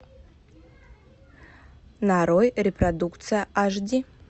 нарой репродукция аш ди